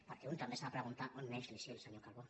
perquè un també s’ha de preguntar on neix l’isil senyor calbó